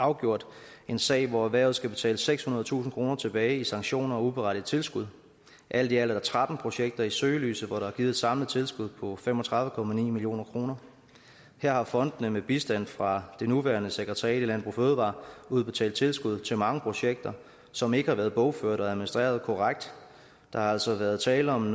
afgjort en sag hvor erhvervet skal betale sekshundredetusind kroner tilbage i sanktioner og uberettigede tilskud alt i alt er tretten projekter i søgelyset hvor der er givet et samlet tilskud på fem og tredive million kroner her har fondene med bistand fra det nuværende sekretariat i landbrug fødevarer udbetalt tilskud til mange projekter som ikke har været bogført og administreret korrekt der har altså været tale om